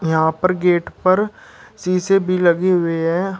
यहां पर गेट पर शीशे भी लगे हुए है।